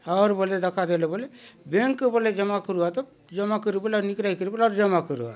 आउर बले दखा देले बले बैंक बले जमा करुआत जमा करि बलि निकरायी करि बले जमा करुआत।